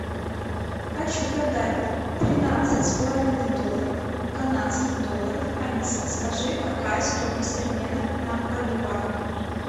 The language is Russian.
хочу продать тринадцать с половиной долларов канадских долларов алиса скажи какая стоимость обмена на боливар